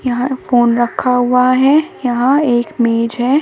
यहाँ फोन रखा हुआ है यहां एक मेज है।